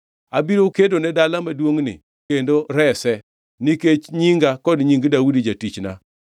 Abiro kedone dala maduongʼni, kendo rese; nikech nyinga kod nying Daudi jatichna.’ ”